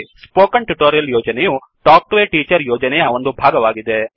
spoken tutorial ಯೋಜನೆಯು talk to a teacher ಯೋಜನೆಯ ಒಂದು ಭಾಗವಾಗಿದೆ